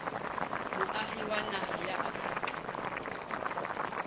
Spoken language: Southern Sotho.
moahi wa naha ya afrika